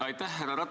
Aitäh!